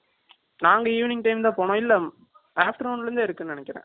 நாங்க, evening time தான், போனோம். இல்லை, Afternoon la இருந்தே, இருக்குன்னு நினைக்கிறேன்.